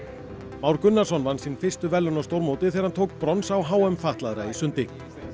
Már Gunnarsson vann sín fyrstu verðlaun á stórmóti þegar hann tók brons á h m fatlaðra í sundi